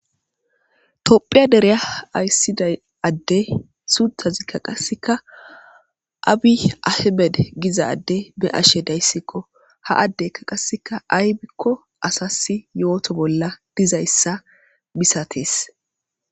Tophphiya dere ayisida adezi sunthazikka qasekka abi amede beyashe dayis gusikko ha adezi qase ayikko asasi yoto bola dizayisa misatees